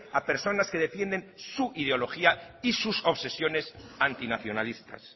a personas que defienden su ideología y sus obsesiones antinacionalistas